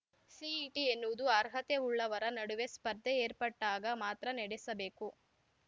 CET ಎನ್ನುವುದು ಅರ್ಹತೆ ಉಳ್ಳವರ ನಡುವೆ ಸ್ಪರ್ಧೆ ಏರ್ಪಟ್ಟಾಗ ಮಾತ್ರ ನಡೆಸಬೇಕು